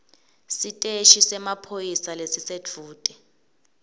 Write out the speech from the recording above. siteshi semaphoyisa lesisedvute